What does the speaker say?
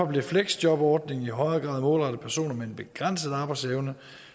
blev fleksjobordningen i højere grad målrettet personer med en begrænset arbejdsevne